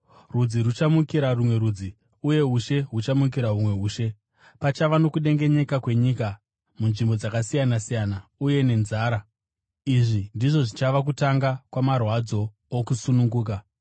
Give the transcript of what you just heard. Rudzi ruchamukira rumwe rudzi, uye ushe huchamukira humwe ushe. Pachava nokudengenyeka kwenyika munzvimbo dzakasiyana-siyana, uye nenzara. Izvi ndizvo zvichava kutanga kwamarwadzo okusununguka.